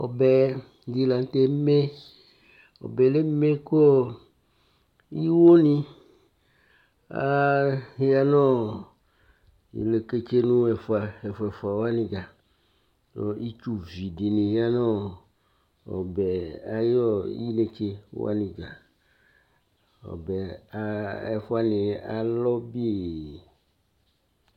Ɔbɛ dɩ la nʋ tɛ eme Ɔbɛ yɛ leme kʋ ɔɔ iwonɩ aa ya nʋ ɔɔ ileketsenu ɛfʋa, ɛfʋa-fʋa wanɩ dza Kʋ itsuvi dɩnɩ ya nʋ ɔɔ ɔbɛ ayʋ intse wanɩ dza Ɔbɛ aɣa ɛfʋ wanɩ alɔ bii